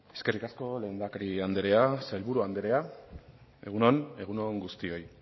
eskerrik asko lehendakari andrea sailburua andrea egun on egun on guztioi